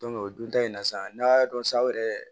o dun ta in na sa n'a dɔn sa yɛrɛ